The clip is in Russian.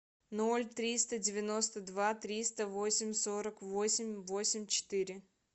ноль триста девяносто два триста восемь сорок восемь восемь четыре